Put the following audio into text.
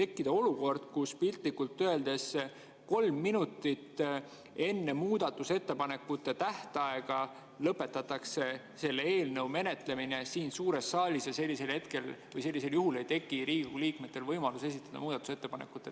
Muidu võib piltlikult öeldes tekkida olukord, kus kolm minutit enne muudatusettepanekute tähtaega lõpetatakse selle eelnõu menetlemine siin suures saalis ja sellisel juhul ei teki Riigikogu liikmetel võimalust esitada muudatusettepanekuid.